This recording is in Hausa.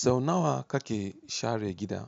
Sau nawa kake share gida?